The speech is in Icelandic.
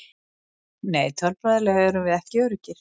Nei tölfræðilega erum við ekki öruggir.